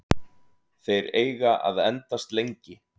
Þeir eiga að endast lengi.